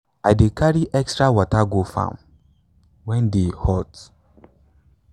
i dey carry extra water go farm when day hot.